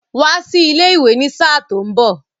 Wá sí ilé ìwé ní sáà tó mbọ̀!